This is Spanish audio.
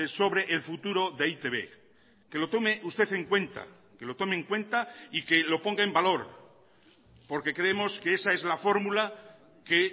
sobre el futuro de e i te be que lo tome usted en cuenta que lo tome en cuenta y que lo ponga en valor porque creemos que esa es la fórmula que